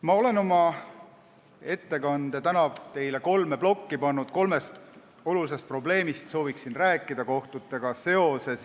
Ma olen oma tänase ettekande jaganud kolme plokki, sooviksin rääkida kolmest olulisest probleemist kohtutega seoses.